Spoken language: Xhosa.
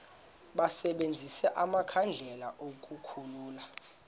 basebenzise amakhandlela ukukhulula